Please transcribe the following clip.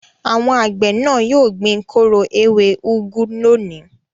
Àwọn àgbẹ̀ náà yóò gbin kóró ewé úgú lónìí.